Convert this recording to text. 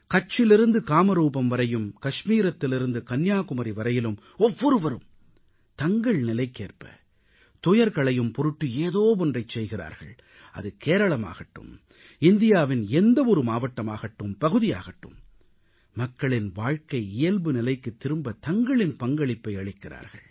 கட்சிலிருந்து காமரூபம் வரையும் காஷ்மீரத்திலிருந்து கன்னியாகுமரி வரையிலும் ஒவ்வொருவரும் தங்கள் நிலைக்கேற்ப துயர் களையும் பொருட்டு ஏதோ ஒன்றைச் செய்கிறார்கள் அது கேரளமாகட்டும் இந்தியாவின் எந்த ஒரு மாவட்டமாகட்டும் பகுதியாகட்டும் மக்களின் வாழ்க்கை இயல்பு நிலைக்குத் திரும்ப தங்களின் பங்களிப்பை அளிக்கிறார்கள்